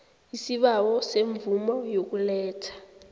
isibawo semvumo yokuletha